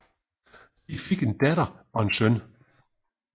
De fik en datter og en søn